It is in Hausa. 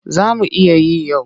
Za mu iya yi yau.